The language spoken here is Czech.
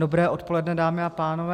Dobré odpoledne, dámy a pánové.